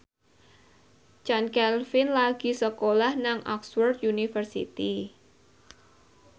Chand Kelvin lagi sekolah nang Oxford university